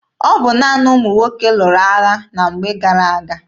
Ọ bụ naanị ụmụ nwoke lụrụ agha na mgbe gara aga.